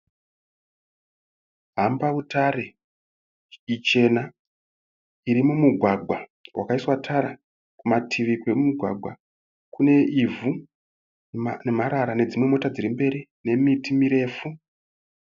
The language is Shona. Hambautare ichena iri mumugwagwa wakaiswa tara kumativi kwemugwagwa kune ivhu nemarara nedzimwe mota dziri kumberi nemiti mirefu.